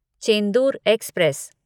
Chendur express